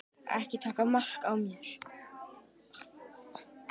Ekki taka mark á mér.